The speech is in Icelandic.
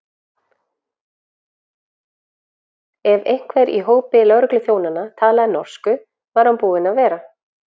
Ef einhver í hópi lögregluþjónanna talaði norsku, var hann búinn að vera.